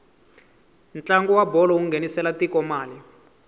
ntlangu wa bolo wu nghenisela tiko mali